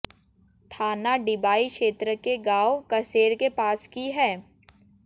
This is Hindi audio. थाना डिबाई क्षेत्र के गांव कसेर के पास की है